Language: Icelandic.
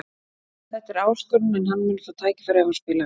Þetta er áskorun en hann mun fá tækifæri ef hann spilar vel.